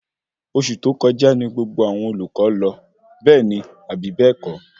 Oṣù tó kọjá ní gbogbo àwọn olùkọ lọ, bẹẹni Abi bẹ́ẹ̀kọ́?